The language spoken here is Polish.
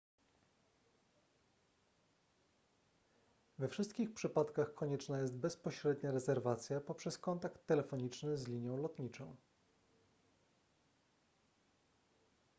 we wszystkich przypadkach konieczna jest bezpośrednia rezerwacja poprzez kontakt telefoniczny z linią lotniczą